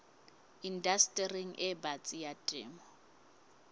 indastering e batsi ya temo